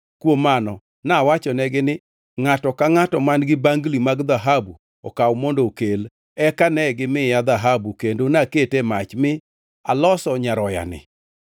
Kuom mano nawachonegi ni, ‘Ngʼato ka ngʼato man-gi bangli mag dhahabu okaw mondo okel.’ Eka negimiya dhahabu kendo nakete e mach mi aloso nyaroyani!”